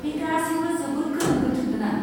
बे गासैबो जोबोद गोनो गोथो गोनां।